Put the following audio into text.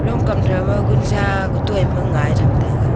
kam tho ma gunsa tutoi ma ngai tham taiga.